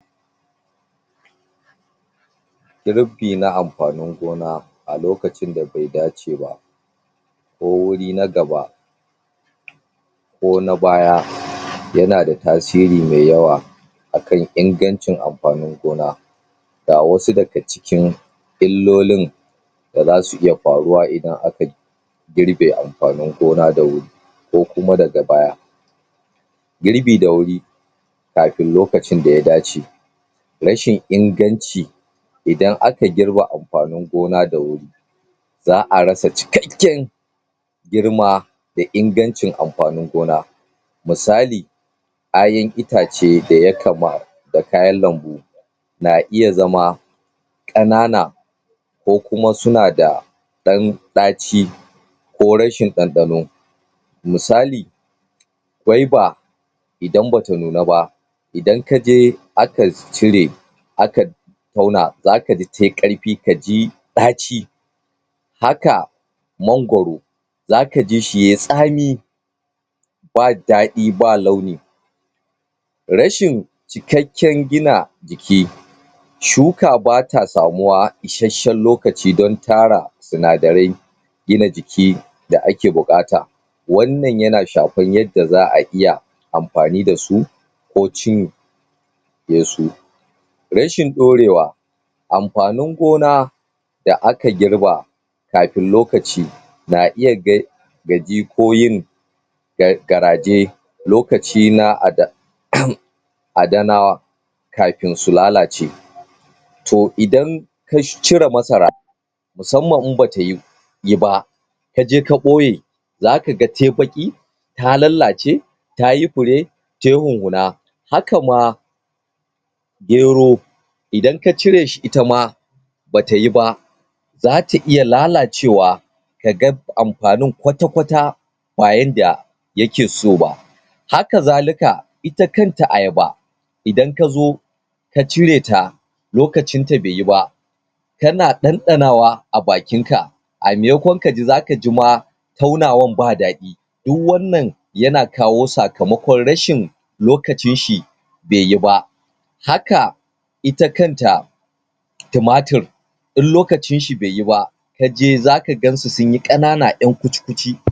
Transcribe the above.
girbi na amfanin gona a lokacin da bai dace ba ko wuri na gaba ko na baya yana da tasiri me yawa akan ingancin amfanin gona ga wasu daga cikin illolin da zasu iya faruwa ida akai girbe amfanin gona da wuri ko kuma daga baya girbi da wuri kafin lokacin daya dace rashi inganci idan aka girbe amfanin gona da wuri za'a rasa cikakken girma da ingancin amfanin gona misali kayan itace da ya kama da kayan lambu na iya zama ƙanana ko kuma suna da ɗan ɗaci ko rashin ɗanɗano misali gwaiba idan bata nuna ba idan kaje aka cire aka tauna zakaji tai ƙarfi kaji ɗaci haka mangwaro zaka jishi yay tsami ba daɗi ba launi rashin cikakken gina jiki shuka bata samuwa ishashan lokaci dan tara sinadarai gina jiki da ake buƙata wannan yana shafan tanda za'a iya amfani dasu ko cin yesu rashin ɗorewa amfanin gona da aka girba kafin lokaci na iya gaji ko yin garaje lokaci na ada um adanawa kafin su lalace to idan ka cire masara musamman in bata yiba kaje ka ɓoye zakaga tai baƙi ta lallace tayi fure tai hunhuna haka ma gero idan ka cire shi itama bata yiba zata iya lalacewa kaga amfanin kwatakwata ba yanda yake so ba haka zalika ita kanta ayaba idan kazo ka cire ta lokacin ta beyi ba kana ɗanɗanawa abakin ka a maimakon kaji zaka jima tauna wan ba daɗi duk wannan yana kawo sakamakon rashin lokacin shi be yiba haka ita kanta tumatur in lokacin shi beyi ba kaje zakagan su sunyi ƙanana ƴan kuci kuci